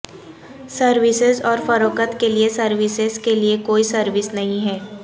services اور فروخت کے لئے سروسز کے لئے کوئی سروس نہیں ہے